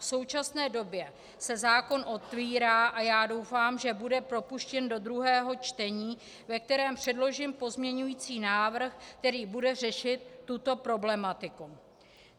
V současné době se zákon otvírá a já doufám, že bude propuštěn do druhého čtení, ve kterém předložím pozměňovací návrh, který bude řešit tuto problematiku.